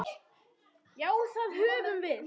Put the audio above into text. Já, það höfum við.